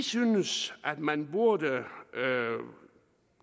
synes at man burde